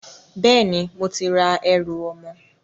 Bẹ́ẹ̀ni, mo ti ra ẹrù ọmọ